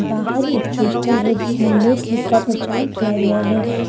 बाहर एक पोस्टर है जिसमें लेस लिखकर प्रचार किया गया है।